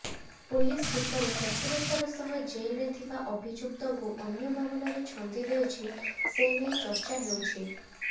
police କିପରି ଚତୁରତାର ସହ ଜେଲ୍ରେ ଥିବା ଅଭିଯୁକ୍ତଙ୍କୁ ଅନ୍ୟ ମାମଲାରେ ଛନ୍ଦି ଦେଉଛି ସେନେଇ ଚର୍ଚ୍ଚା ହେଉଛି